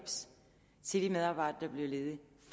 til de medarbejdere der bliver ledige